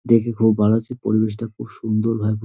দেখে খুব ভালো লাগছে পরিবেশটা খুব সুন্দরভাবে--